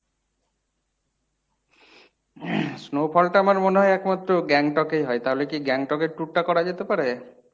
snow fall টা আমার মনে হয় একমাত্র গ্যাংটকেই হয়। তাহলে কী গ্যাংটকে tour টা করা যেতে পারে?